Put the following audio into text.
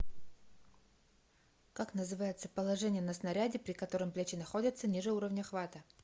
как называется положение на снаряде при котором плечи находятся ниже уровня хвата